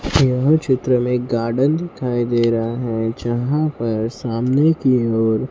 यह चित्र में एक गार्डन दिखाई दे रहा है जहां पर सामने की ओर--